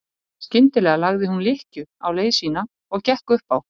Skyndilega lagði hún lykkju á leið sína og gekk upp á